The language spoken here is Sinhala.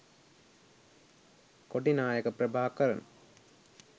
කොටි නායක ප්‍රභාකරන්